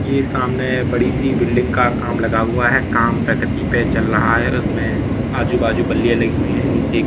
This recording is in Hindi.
ये सामने बड़ी सी बिल्डिंग का काम लगा हुआ है काम प्रगति पे चल रहा है उसमें आजू बाजू बल्लियां लगी हुई हैं नीचे--